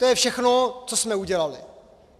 To je všechno, co jsme udělali.